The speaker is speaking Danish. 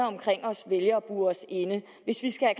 omkring os vælger at bure sig inde hvis vi skal